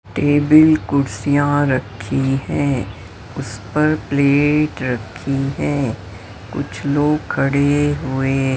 table कुर्सियां रखी हैं उस पर प्लेट रखी हैं कुछ लोग खडे हुए--